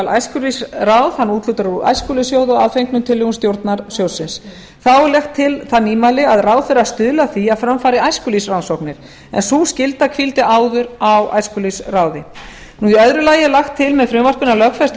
æskulýðsráð og úthlutar úr æskulýðssjóði að fengnum tillögum stjórnar sjóðsins þá er lagt til það nýmæli að ráðherra stuðli að því að fram fari æskulýðsrannsóknir en sú skylda hvíldi áður á æskulýðsráði í öðru lagi er lagt til með frumvarpinu að lögfestur